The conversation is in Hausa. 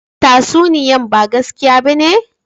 Tatsuniyan ba gaskiya ba ne?